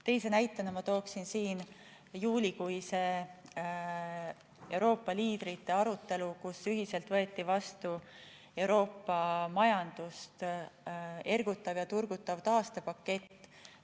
Teise näitena tooksin siin juulikuise Euroopa liidrite arutelu, kus ühiselt võeti vastu Euroopa majandust ergutav ja turgutav taastepakett.